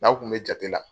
N'aw kun bɛ jate la